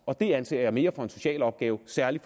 og det anser jeg mere for en social opgave særlig